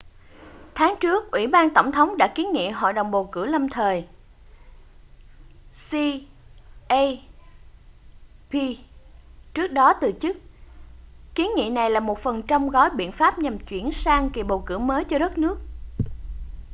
tháng trước ủy ban tổng thống đã kiến nghị hội đồng bầu cử lâm thời cep trước đó từ chức. kiến nghị này là một phần trong gói biện pháp nhằm chuyển sang kỳ bầu cử mới cho đất nước